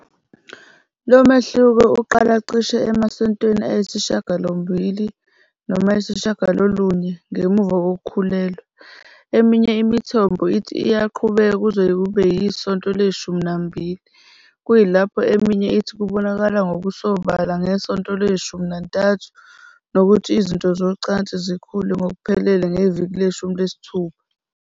Lo mehluko uqala cishe emasontweni ayisishiyagalombili noma ayisishiyagalolunye ngemuva kokukhulelwa. Eminye imithombo ithi iyaqhubeka kuze kube yisonto leshumi nambili, kuyilapho eminye ithi kubonakala ngokusobala ngesonto leshumi nantathu nokuthi izitho zocansi zikhule ngokuphelele ngeviki leshumi nesithupha.